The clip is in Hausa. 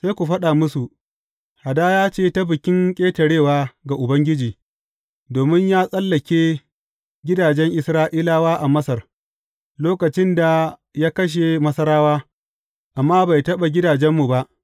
Sai ku faɗa musu, Hadaya ce ta Bikin Ƙetarewa ga Ubangiji, domin ya tsallake gidajen Isra’ilawa a Masar, lokacin da ya kashe Masarawa, amma bai taɓa gidajenmu ba.’